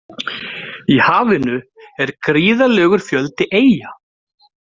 Í hafinu er gríðarlegur fjöldi eyja.